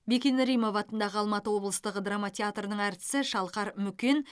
бекен римова атындағы алматы облыстық драма театрының әртісі шалқар мүкен